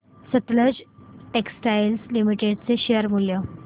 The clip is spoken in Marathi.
सतलज टेक्सटाइल्स लिमिटेड चे शेअर मूल्य